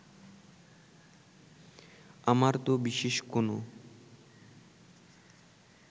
আমার তো বিশেষ কোনো